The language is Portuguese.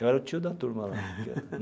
Eu era o tio da turma lá.